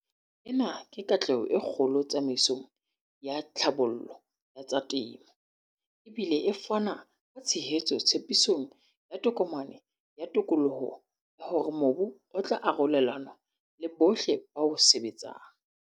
Ena ke katleho e kgolo tsamaisong ya tlhabollo ya tsa temo, e bile e fana ka tshehetso tshepisong ya Tokomane ya Tokoloho ya hore mobu o tla arolelanwa le bohle ba o sebetsang.